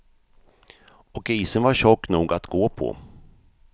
Och isen var tjock nog att gå på.